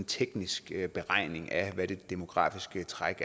teknisk beregning af hvad det demografiske træk